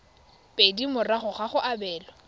pedi morago ga go abelwa